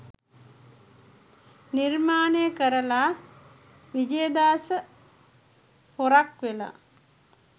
නිර්මානය කරලා විජයදාස පොරක් වෙලා